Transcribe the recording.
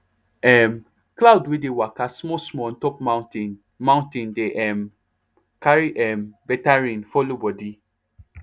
um cloud wey dey waka small small on top mountain mountain dey um carry um better rain follow body